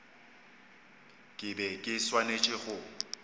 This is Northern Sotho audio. ke be ke swanetše go